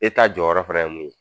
jɔyɔrɔ fɛnɛ ye mun ye